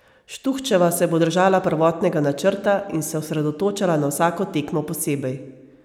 Štuhčeva se bo držala prvotnega načrta in se osredotočala na vsako tekmo posebej.